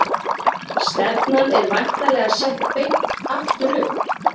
Stefnan er væntanlega sett beint aftur upp?